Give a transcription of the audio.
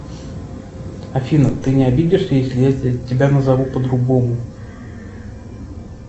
афина ты не обидишься если я тебя назову по другому